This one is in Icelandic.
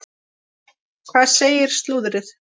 Hvað segir slúðrið?